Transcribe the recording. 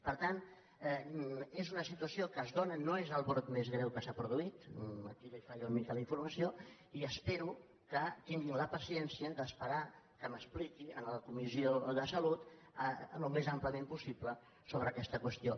per tant és una situació que es dóna no és el brot més greu que s’ha produït aquí li falla una mica la informació i espero que tinguin la paciència d’esperar que m’expliqui a la comissió de salut al més àmpliament possible sobre aquesta qüestió